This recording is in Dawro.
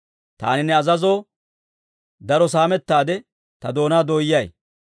Taani ne azazoo, daro saamettaade ta doonaa dooyay.